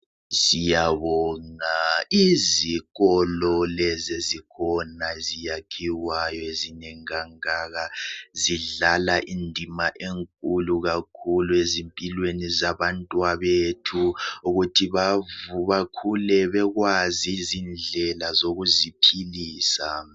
Siyabonga izikolo lezi ezikhona eziyakhiwayo ezinengi kangaka .Zidlala indima enkulu kakhulu ezimpilweni zabantwabethu. Ukuthi bakhule bekwazi izindlela zokuziphilisa .